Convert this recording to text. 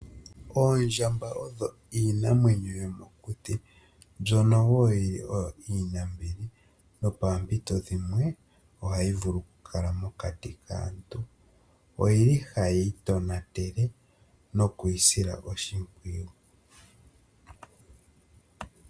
Oondjamba odho iinamwenyo yomokuti mbyono woo yili iinambili nopoompito dhimwe ohayi vulu oku kala mokati kaantu. Oyili hayi itonatele nokwiisila oshimpwiyu .